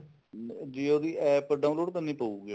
jio ਦੀ APP download ਕਰਨੀ ਪਉਗੀ ਆਪਾਂ ਨੂੰ